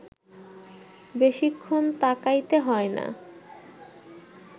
বেশিক্ষণ তাকাইতে হয় না